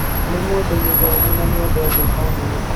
Nĩ mũndũ mũthomu na nĩendete famĩrĩ